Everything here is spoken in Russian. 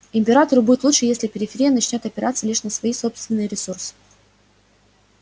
императору будет лучше если периферия начнёт опираться лишь на свои собственные ресурсы